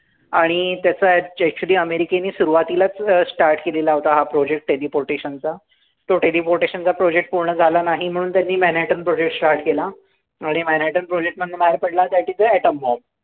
आणि त्याचं actually अमेरिकेने सुरुवातीलाच start केलेला होता हा project teleportation चा. तो teleportation चा project पूर्ण झाला नाही म्हणून त्यांनी marattam project start केला. आणि manhattan project पण मागं पडला त्या तिथे atom bomb.